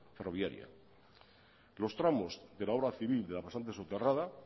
ferroviaria los tramos de la obra civil de la pasante soterrada